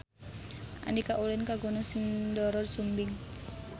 Andika ulin ka Gunung Sindoro Sumbing